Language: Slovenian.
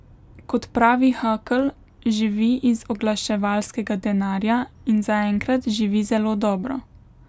Kot pravi Hakl, živi iz oglaševalskega denarja in zaenkrat živi zelo dobro.